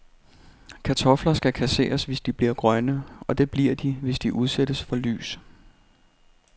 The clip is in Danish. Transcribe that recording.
Kartofler skal kasseres, hvis de bliver grønne, og det bliver de, hvis de udsættes for lys.